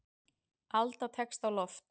Alda tekst á loft.